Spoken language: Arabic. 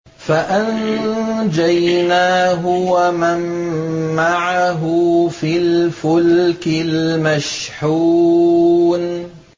فَأَنجَيْنَاهُ وَمَن مَّعَهُ فِي الْفُلْكِ الْمَشْحُونِ